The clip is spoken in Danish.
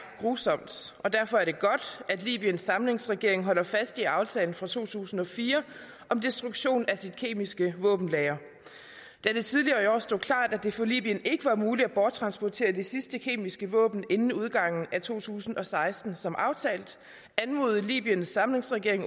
grusomt og derfor er det godt at libyens samlingsregering holder fast i aftalen fra to tusind og fire om destruktion af sit kemiske våbenlagre da det tidligere i år stod klart at det for libyen ikke var muligt at borttransportere de sidste kemiske våben inden udgangen af to tusind og seksten som aftalt anmodede libyens samlingsregering